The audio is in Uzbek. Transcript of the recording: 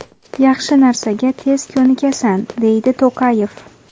Yaxshi narsaga tez ko‘nikasan”, deydi To‘qayev.